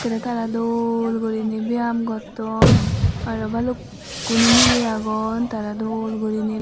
ekerre tara dol gurine biyam gotton aro balukkun milay agon tara dol gurine.